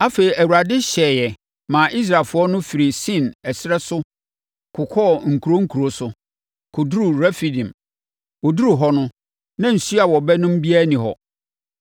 Afei, Awurade hyɛeɛ maa Israelfoɔ no firii Sin ɛserɛ no so kokɔɔ nkuro nkuro so, kɔduruu Refidim. Wɔduruu hɔ no, na nsuo a wɔbɛnom biara nni hɔ.